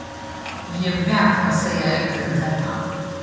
Ég verð að segja einhverjum þetta.